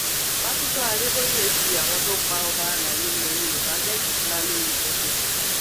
pásítọ adéboye fi àwọn tó pa ọba àlàyé ilẹ yorùbá gégùnún ńlá lórí pẹpẹ